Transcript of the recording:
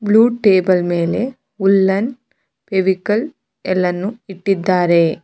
Blue table ಮೇಲೆ woollen Fevicol ಎಲ್ಲನು ಇಟ್ಟಿದ್ದಾರೆ.